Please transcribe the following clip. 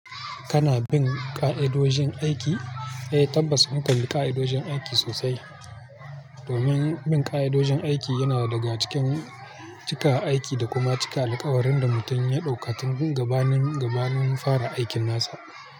Kana bin ƙa'idojin aiki? Eh, tabbas mu kanbi ƙa'idojin aiki sosai. Domin bin ƙa'idojin aiki yana daga cikin cika aiki da kuma cika alkawarin da mutum ya ɗauka tun gabanin, gabanin fara aikin nasa.